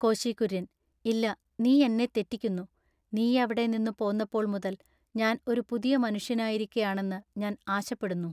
കോശികുര്യന്‍-“ഇല്ല നീ എന്നെ തെറ്റിക്കുന്നു. നീയവിടെ നിന്നു പോന്നപ്പോൾ മുതൽ ഞാൻ ഒരു പുതിയ മനുഷ്യനായിരിക്കയാണെന്നു ഞാൻ ആശപ്പെടുന്നു.